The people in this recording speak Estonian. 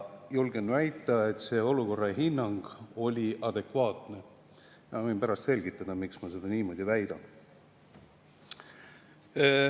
Julgen väita, et see olukorra hinnang oli adekvaatne, ja ma võin pärast selgitada, miks ma nii väidan.